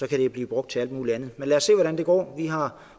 kan blive brugt til alt mulig andet men lad os se hvordan det går vi har